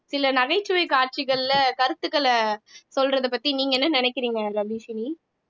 சில நகைச்சுவை காட்சிகள்ல கருத்துக்களை சொல்றது பத்தி நீங்க என்ன நினைக்கிறீங்க ரபீஷினி